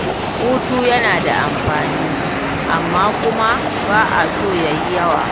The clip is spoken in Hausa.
Hutu yana da amfani amma kuma ba a so yayi yawa